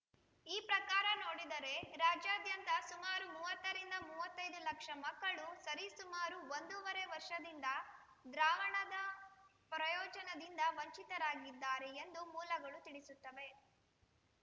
ಈ ಪ್ರಕಾರ ನೋಡಿದರೆ ರಾಜ್ಯಾದ್ಯಂತ ಸುಮಾರು ಮೂವತ್ತರಿಂದ ಮೂವತ್ತೈದು ಲಕ್ಷ ಮಕ್ಕಳು ಸರಿ ಸುಮಾರು ಒಂದೂವರೆ ವರ್ಷದಿಂದ ದ್ರಾವಣದ ಪ್ರಯೋಜನದಿಂದ ವಂಚಿತವಾಗಿದ್ದಾರೆ ಎಂದು ಮೂಲಗಳು ತಿಳಿಸುತ್ತವೆ